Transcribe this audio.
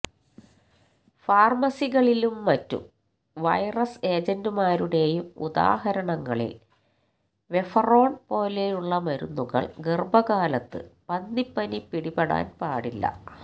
ഫാർമസികളിലും മറ്റ് വൈറസ് ഏജന്റുമാരുടേയും ഉദാഹരണങ്ങളിൽ വെഫെറോൺ പോലെയുള്ള മരുന്നുകൾ ഗർഭകാലത്ത് പന്നിപ്പനി പിടിപ്പാൻ പാടില്ല